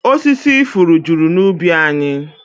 Osisi ifuru juru n'ubi anyị